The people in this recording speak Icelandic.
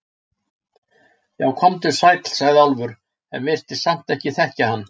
Já, komdu sæll, sagði Álfur, en virtist samt ekki þekkja hann.